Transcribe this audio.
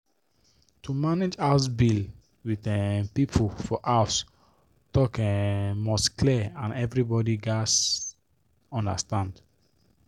to manage house bill with um people for house talk um must clear and everybody gats understand.